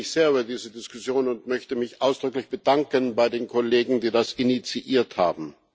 Ich freue mich sehr über diese Diskussion und möchte mich ausdrücklich bedanken bei den Kollegen, die das initiiert haben.